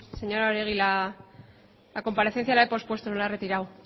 sí señora oregi la comparecencia la he pospuesto no la he retirado